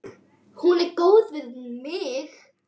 Hún er góð við mig.